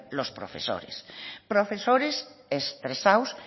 los profesores profesores estresados